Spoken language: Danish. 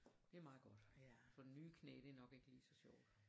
Det er meget godt for nye knæ det er nok ikke lige så sjovt